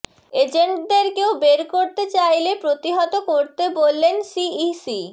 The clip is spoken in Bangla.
এজেন্টদের কেউ বের করতে চাইলে প্রতিহত করতে বললেন সিইসি